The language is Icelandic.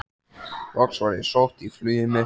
Loks var ég sótt í flugið mitt.